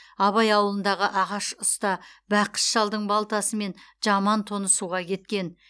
абай ауылындағы ағаш ұста бақыш шалдың балтасы мен жаман тоны суға кеткен